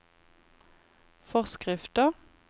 forskrifter